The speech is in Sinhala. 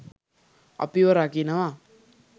අපිව රකිනවා.